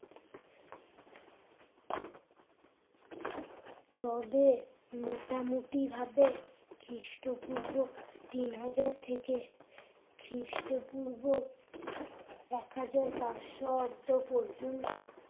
তবে মোটামুটি ভাবে খ্রিষ্টপূর্ব তিন হাজার থেকে খ্রিস্টপূর্ব এক হাজার পাঁচশো আব্দ পর্যন্ত